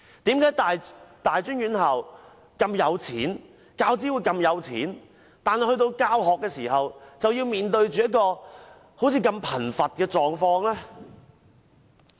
為何大專院校和教資會那麼富有，但在教學上卻要讓講師面對如此貧乏的境況呢？